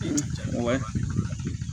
Wa